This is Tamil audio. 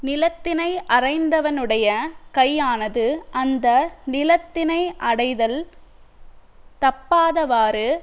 நிலத்தினை அறைந்தவனுடைய கையானது அந்த நிலத்தினை அடைதல் தப்பாதவாறு